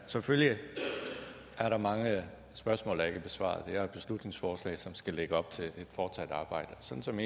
selvfølgelig er der mange spørgsmål der ikke er besvaret det er et beslutningsforslag som skal lægge op til et fortsat arbejde sådan som